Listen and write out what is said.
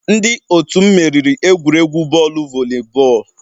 Ndị otu m meriri egwuregwu bọọlụ volleyball